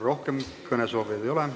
Rohkem kõnesoovijaid ei ole.